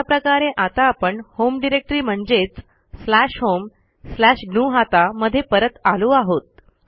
अशा प्रकारे आता आपण होम डिरेक्टरी म्हणजेच स्लॅश होम स्लॅश ग्नुहता मध्ये परत आलो आहोत